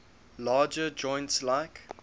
larger joints like